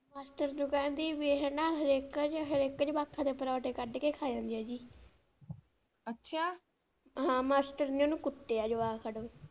Master ਨੂੰ ਕਹਿੰਦੀ ਵੀ ਇਹ ਨਾ ਹਰ ਇਕ ਹਰ ਇਕ ਜਵਾਕ ਦੇ ਪਰੌਠੇ ਕੱਢ ਕੇ ਖਾ ਜਾਂਦੀ ਆ ਜੀ ਅੱਛਾ, ਹਾਂ ਮਾਸਟਰ ਨੇ ਓਹਨੂੰ ਕੁੱਟਿਆ ਜਵਾਕ ਨੂੰ।